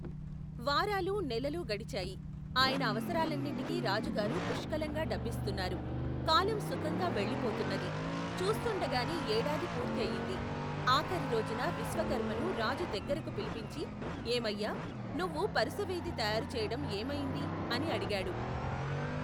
వారాలు నెలలు గడిచాయి, ఆయన అవసరాలన్నిటికీ రాజుగారు పుష్కలంగా డబ్బిస్తున్నారు, కాలం సుఖంగా వెళ్ళిపోతున్నది, చూస్తుండగానే ఏడాది పూర్తి అయింది, ఆఖరిరోజున విశ్వకర్మను రాజు దగ్గరకు పిలిపించి ఏమయ్యా, నువ్వు పరుసవేది తయారు చేయటం ఏమయింది, అని అడిగాడు.